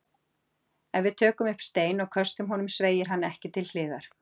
Ef við tökum upp stein og köstum honum sveigir hann ekki til hliðar.